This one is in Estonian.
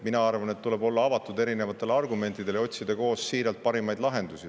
Mina arvan, et tuleb olla avatud erinevatele argumentidele ja otsida koos siiralt parimaid lahendusi.